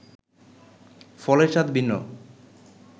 ফলের স্বাদ ভিন্ন